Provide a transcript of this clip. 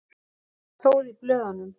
Hvað stóð í blöðunum?